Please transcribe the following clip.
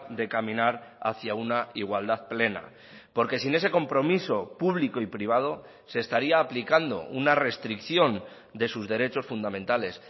de caminar hacia una igualdad plena porque sin ese compromiso público y privado se estaría aplicando una restricción de sus derechos fundamentales